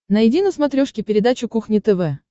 найди на смотрешке передачу кухня тв